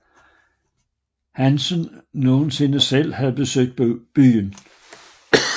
Hansen nogensinde selv havde besøgt byen